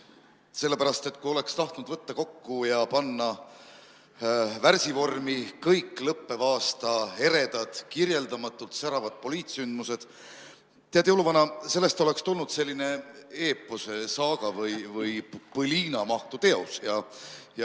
Sellepärast, et kui oleks tahtnud võtta kokku ja panna värsivormi kõik lõppeva aasta eredad kirjeldamatult säravad poliitsündmused, tead, jõuluvana, sellest oleks tulnud selline eepose, saaga või bõliina mahtu teos.